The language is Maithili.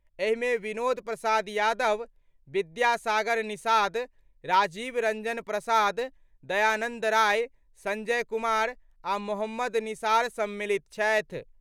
एहिमे विनोद प्रसाद यादव, विद्या सागर निषाद, राजीव रंजन प्रसाद, दयानंद राय, संजय कुमार आ मोहम्मद निसार सम्मिलित छथि।